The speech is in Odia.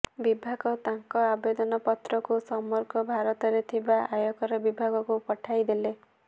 ବିଭାଗ ତାଙ୍କ ଆବେଦନ ପତ୍ରକୁ ସମଗ୍ର ଭାରତରେ ଥିବା ଆୟକର ବିଭାଗକୁ ପଠାଇଦେଲେ